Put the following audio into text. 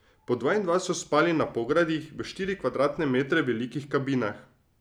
Po dva in dva so spali na pogradih v štiri kvadratne metre velikih kabinah.